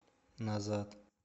назад